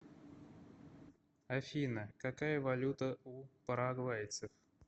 афина какая валюта у парагвайцев